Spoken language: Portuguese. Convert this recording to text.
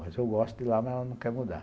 Mas eu gosto de ir lá, mas ela não quer mudar.